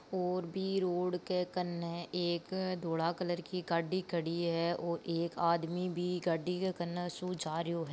और बी रोड के कने एक धोला कलर की गाड़ी खड़ी है और एक आदमी भी गाड़ी के कने सु जा रियो है।